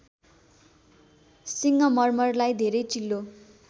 सिङ्गमर्मरलाई धेरै चिल्लो